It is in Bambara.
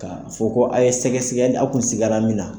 Ka fɔ ko a ye sɛgɛsɛgɛli a kun siga la min na